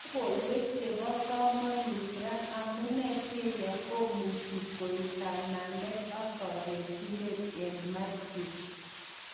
Lokoiwek chebo komonut ra: Amune Syria komuche koik kanamet ak kokesunet eng Mathew.